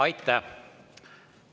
Aitäh!